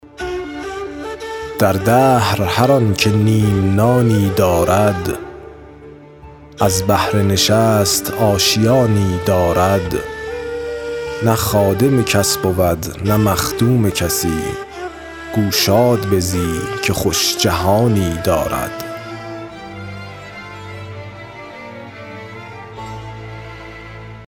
در دهر هر آن که نیم نانی دارد از بهر نشست آشیانی دارد نه خادم کس بود نه مخدوم کسی گو شاد بزی که خوش جهانی دارد